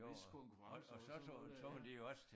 Whistkonkurrencer og sådan noget ja